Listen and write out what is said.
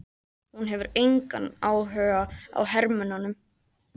Hún hefur engan áhuga á hermönnunum.